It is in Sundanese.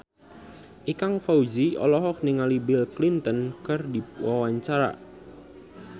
Ikang Fawzi olohok ningali Bill Clinton keur diwawancara